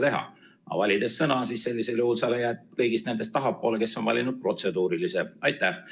Aga valides sõnavõtusoovi sa jääd kõigist nendest tahapoole, kes on vajutanud protseduurilise küsimuse nupule.